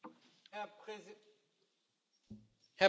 Herr Präsident, liebe Kolleginnen und Kollegen!